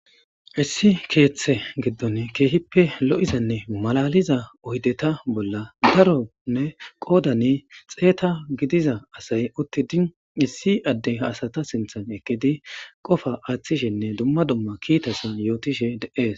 Issi keeththe giddon keehippe lo'izanne malaliza oydeta bolla daronne qoodani xeeta gidiza asay uttidi issi adde asata sinthan ekidi qofa aaththishenne dumma dumma kiitasa yootishe de'ees.